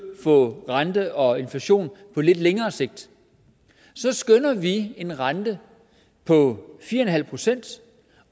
for rente og inflation på lidt længere sigt så skønner vi en rente på fire procent